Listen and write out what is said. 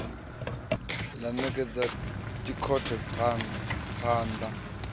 ḽa ṋekedza dokhethe phaan ḓa